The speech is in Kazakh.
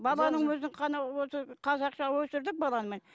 баланың өзін ғана осы қазақша өсірдік баланы мен